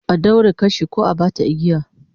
A daure kashi ko a bata igiya